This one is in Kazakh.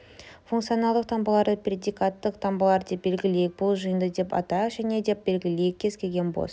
функционалдық таңбаларды предикаттық таңбаларды деп белгілейік бұл жиынды деп атайық және деп белгілейік кез-келген бос